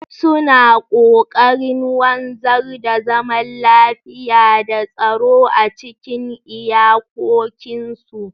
Suna kokarin wanzar da zaman lafiya da tsaro a cikin iyakokinsu.